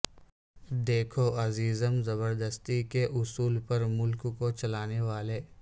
دیکھو عزیزم زبردستی کے اصول پر ملک کو چلانے والے